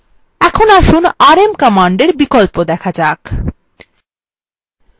এখন আসুন rm command বিকল্প দেখা যাক